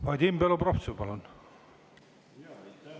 Vadim Belobrovtsev, palun!